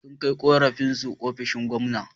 Sun kai ƙorafinsu ofishin gwamna.